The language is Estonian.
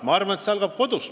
Ma arvan, et see algab kodust.